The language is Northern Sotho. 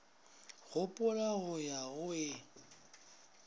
gopola go ya go e